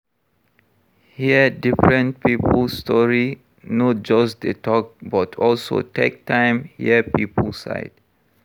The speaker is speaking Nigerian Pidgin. Hear different pipo story, no just dey talk but also take time hear pipo side